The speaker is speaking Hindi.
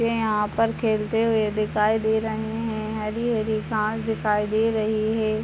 ये यहाँ पर खेलते हुए दिखाई दे रहे हैं हरे-हरे घास दिखाई दे रहे हैं।